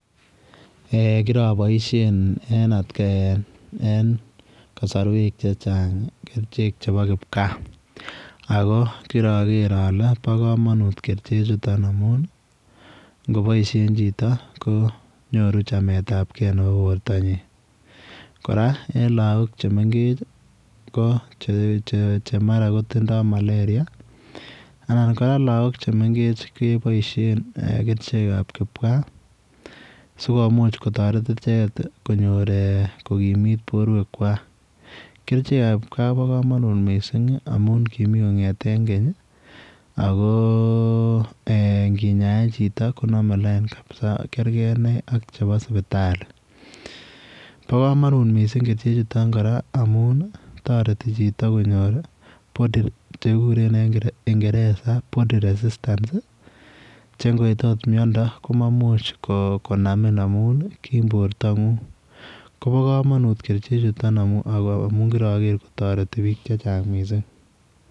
Kiraboishen en kasorwek che chang kerchek chebo kipkaa ako kira ger ale po komonut kerchek chuton amun ngeboishen chito konyoru chamet ap kee nebo borto nyii kora eng lakok che mengech che mara kotindoi malaria anan kora laak chemengech keboishen kerchek ap kipkaa sikomuch kotoret icheket kokimit borwek kwach kerchek ap kipkaa Kobo komonut mising amun kimi kongeten keny ako nginyaen chito konome line kabisa kerkei ine ak chebo sipitali bo komonut mising kerichechuto kora amun toreti chito konyor chekikuren en kingereza body resistance che ngoit akot miondo koma imuch konamin amun kim borto ng'ung' Kobo komonut kerchechuto kir aker kotoreti biik che chang mising